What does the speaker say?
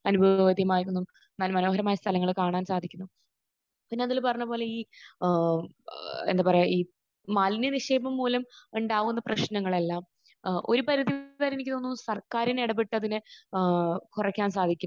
മനോഹരമായ സ്ഥലങ്ങൾ കാണാൻ സാധിക്കുന്നു. പിന്നെ അഖിൽ പറഞ്ഞത് പോലെ ഈ ഏഹ് എന്താ പറയാ ഈ മാലിന്യനിക്ഷേപം മൂലം ഉണ്ടാകുന്ന പ്രശ്നങ്ങളെല്ലാം ഏഹ് ഒരു പരിധി വരെ എനിക്ക് തോന്നുന്നു സർക്കാർ തന്നെ ഇടപെട്ട് അതിനെ ഏഹ് കുറക്കാൻ സാധിക്കും.